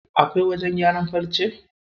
Akwai wajen gyaran farce?